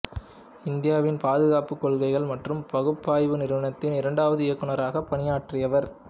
இந்தியாவின் பாதுகாப்பு கொள்கைகள் மற்றும் பகுப்பாய்வு நிறுவனத்தின் இரண்டாவது இயக்குநராக பணியாற்றியவர்